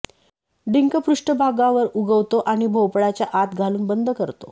डिंक पृष्ठभागावर उगवतो आणि भोपळाच्या आत घालून बंद करतो